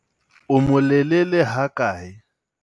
o molelele hakae?